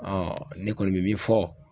ne kɔni bɛ min fɔ.